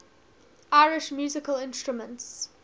irish musical instruments